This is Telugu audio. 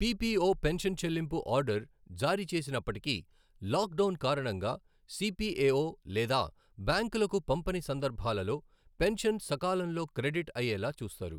పిపిఓ పెన్షన్ చెల్లింపు ఆర్డర్ జారీ చేసినప్పటికీ, లాక్డౌన్ కారణంగా సిపిఎఓ లేదా బ్యాంకులకు పంపని సందర్భాలలో పెన్షన్ సకాలంలో క్రెడిట్ అయ్యేలా చూస్తారు.